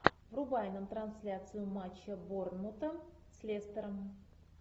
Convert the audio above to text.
врубай нам трансляцию матча борнмута с лестером